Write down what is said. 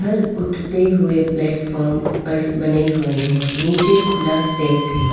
उधर उठते हुए प्लेटफार्म पर बने हुए हैं नीचे खुला स्पेस है।